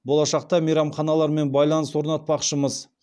болашақта мейрамханалармен байланыс орнатпақшымыз